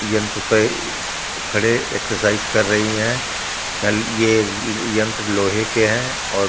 यंत्र पे खड़े एक्सरसाइज कर रही है ल अअ ये यंत्र लोहे के है औ--